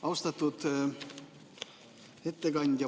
Austatud ettekandja!